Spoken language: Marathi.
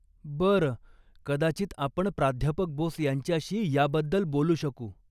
बरं, कदाचित आपण प्राध्यापक बोस यांच्याशी याबद्दल बोलू शकू.